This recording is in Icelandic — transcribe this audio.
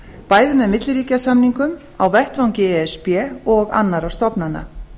bæði með milliríkjasamningum á vettvangi e s b og annarra stofnana